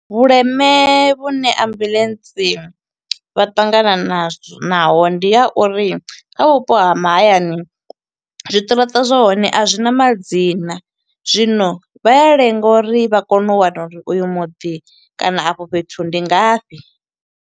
Vhuleme vhune ambuḽentsi vha ṱangana nazwo naho, ndi ya uri kha vhupo ha mahayani, zwiṱiraṱa zwa hone a zwina madzina. Zwino vha ya lenga uri vha kone u wana uri oyu muḓi kana afho fhethu ndi ngafhi.